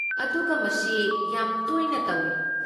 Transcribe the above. ꯑꯗꯨꯒ ꯃꯁꯤ ꯌꯥꯝ ꯇꯣꯏꯅ ꯇꯧꯏ꯫